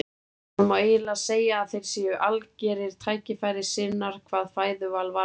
Það má eiginlega segja að þeir séu algerir tækifærissinnar hvað fæðuval varðar.